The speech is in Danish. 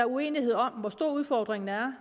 uenighed om hvor stor udfordringen er